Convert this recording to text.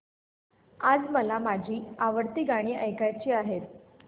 आज मला माझी आवडती गाणी ऐकायची आहेत